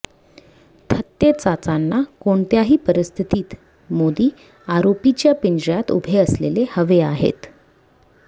थत्तेचाचांना कोणत्याही परिस्थितीत मोदीं आरोपीच्या पिंजऱ्यात उभे असलेले हवे आहेत्